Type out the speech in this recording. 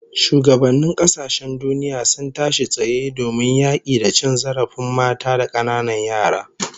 Shugabannin kasashen duniya sun tashi tsaye domin yaki da cin zarafin mata da kananan yara